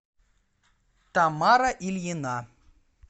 тамара ильина